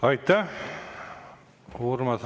Aitäh!